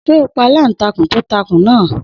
Sé ó pa aláǹtakùn tó takùn náà.